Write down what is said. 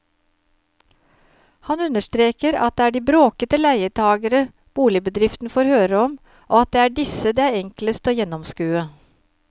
Han understreker at det er de bråkete leietagere boligbedriften får høre om og at det disse det er enklest å gjennomskue.